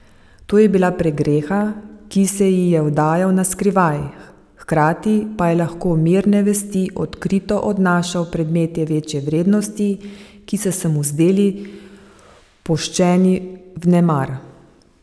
To je bila pregreha, ki se ji je vdajal na skrivaj, hkrati pa je lahko mirne vesti odkrito odnašal predmete večje vrednosti, ki so se mu zdeli puščeni vnemar.